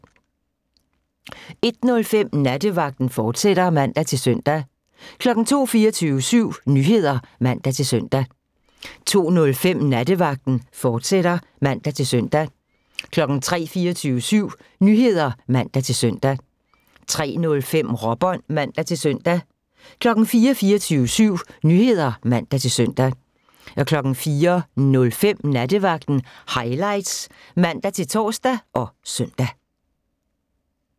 01:05: Nattevagten, fortsat (man-søn) 02:00: 24syv Nyheder (man-søn) 02:05: Nattevagten, fortsat (man-søn) 03:00: 24syv Nyheder (man-søn) 03:05: Råbånd (man-søn) 04:00: 24syv Nyheder (man-søn) 04:05: Nattevagten Highlights (man-tor og søn)